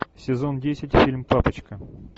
сезон десять фильм папочка